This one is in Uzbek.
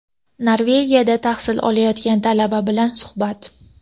Norvegiyada tahsil olayotgan talaba bilan suhbat.